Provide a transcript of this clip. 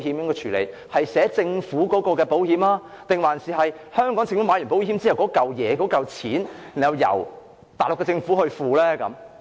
是視為香港政府投購的保險，還是香港政府投購保險後由內地政府支付保險費？